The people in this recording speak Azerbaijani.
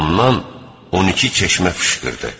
Ondan 12 çeşmə fışqırdı.